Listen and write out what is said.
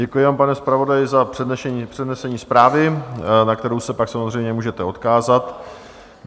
Děkuji vám, pane zpravodaji, za přednesení zprávy, na kterou se pak samozřejmě můžete odkázat.